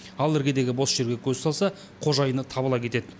ал іргедегі бос жерге көз салса қожайыны табыла кетеді